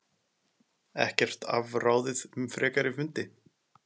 Ekkert afráðið um frekari fundi